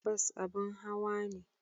Bas abin hawa ne.